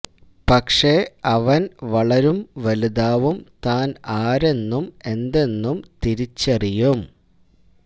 പക്ഷെ അവന് വളരും വലുതാവും താന് ആരെന്നും എന്തെന്നും തിരിച്ചറിയും